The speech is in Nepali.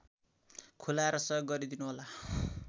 खुलाएर सहयोग गरिदिनुहोला